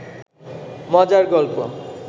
মজার গল্প